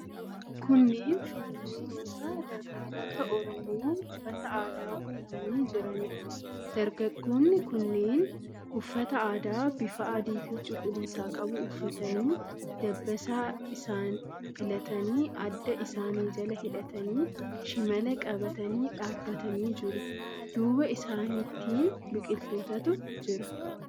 Kunneen shubbistoota, dargaggoota Oromoo uffata aadaa uffatanii jiraniidha. Dargaggoonni kunneen uffata aadaa bifa adiifi cuquliisa qabu uffatanii, dabbasaa isaa filatanii, adda isaanii jala hidhatanii, shimala qabatanii dhaabbatanii iiru. Duuba isaaniitiin biqilootatu jira.